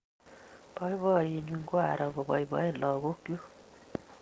Poipoiyennyu ko aro kopoipoen lagok chuk